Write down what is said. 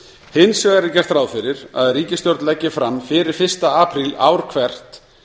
hins vegar er gert ráð fyrir að ríkisstjórn leggi fram fyrir fyrsta apríl ár hvert